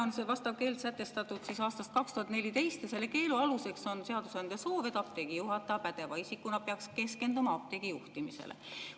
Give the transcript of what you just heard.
Vastav keeld on sätestatud aastal 2014 ja selle keelu aluseks on seadusandja soov, et apteegi juhataja pädeva isikuna peaks keskenduma apteegi juhtimisele.